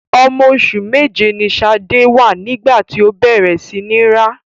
Ọmọ oṣù méje ni Ṣadé wà nígbà tí ó bẹ̀rẹ̀ sí ní rá.